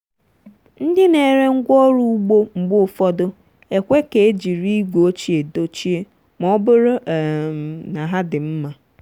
ndị na-ere ngwaọrụ ugbo mgbe ụfọdụ ekwe ka e jiri igwe ochie dochie ma ọ bụrụ um na ha dị mma.